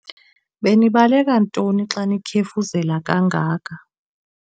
Benibaleka ntoni xa nikhefuzela kangaka?